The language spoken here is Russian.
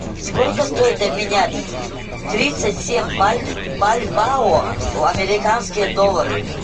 сколько стоит обменять тридцать семь бальбоа в американские доллары